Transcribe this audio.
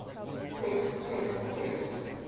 text text text